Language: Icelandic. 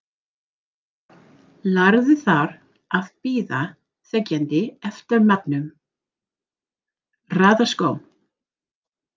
Lærði þar að bíða þegjandi eftir matnum, raða skóm.